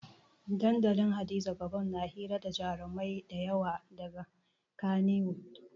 Dandalin hadiza gabon na hira da jarumai dayawa daga kaniwud